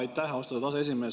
Aitäh, austatud aseesimees!